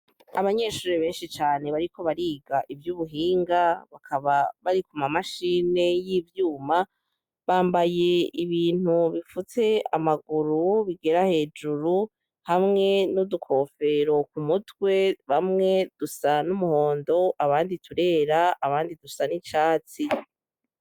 Abanyeshuri beshi cane bariko bariga ivyubihinga bakaba bari ku mamashini y'ivyuma bambaye ibintu bipfutse amaguru bigera hejuru hamwe n'utukofero ku mutwe bamwe dusa n'umuhondo abandi turera abandi dusa n'icatsi.